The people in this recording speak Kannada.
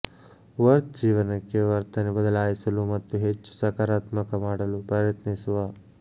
ವರ್ತ್ ಜೀವನಕ್ಕೆ ವರ್ತನೆ ಬದಲಾಯಿಸಲು ಮತ್ತು ಹೆಚ್ಚು ಸಕಾರಾತ್ಮಕ ಮಾಡಲು ಪ್ರಯತ್ನಿಸುವ